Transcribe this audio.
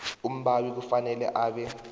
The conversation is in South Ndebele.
umbawi kufanele abe